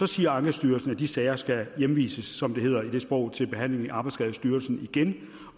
siger ankestyrelsen at de sager skal hjemvises som det hedder i det sprog til behandling i arbejdsskadestyrelsen igen